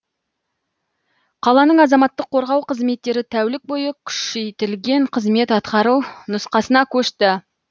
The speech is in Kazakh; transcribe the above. қаланың азаматтық қорғау қызметтері тәулік бойы күшейтілген қызмет атқару нұсқасына көшті